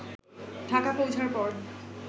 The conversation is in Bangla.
ঢাকা পৌঁছার পর